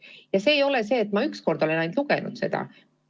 Ja ei ole nii, et ma olen neid ainult ühe korra näinud.